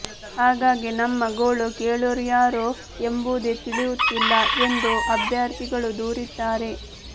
ಹಾಗಾಗಿ ನಮ್ಮ ಗೋಳು ಕೇಳ್ಳೋರ್ಯಾರು ಎಂಬುದೇ ತಿಳಿಯುತ್ತಿಲ್ಲ ಎಂದು ಅಭ್ಯರ್ಥಿಗಳು ದೂರಿದ್ದಾರೆ